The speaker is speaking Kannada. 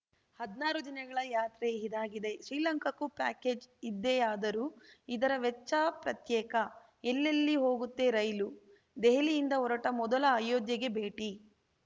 ಹದ್ನಾರು ದಿನಗಳ ಯಾತ್ರೆ ಇದಾಗಿದೆ ಶ್ರೀಲಂಕಾಕ್ಕೂ ಪ್ಯಾಕೇಜ್‌ ಇದ್ದೆಯಾದರೂ ಅದರ ವೆಚ್ಚ ಪ್ರತ್ಯೇಕ ಎಲ್ಲೆಲ್ಲಿ ಹೋಗುತ್ತೆ ರೈಲು ದೆಹಲಿಯಿಂದ ಹೊರಟ ಮೊದಲು ಅಯೋಧ್ಯೆಗೆ ಭೇಟಿ